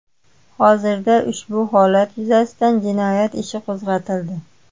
Hozirda ushbu holat yuzasidan jinoyat ishi qo‘zg‘atildi.